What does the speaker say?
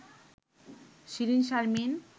Shirin Sharmin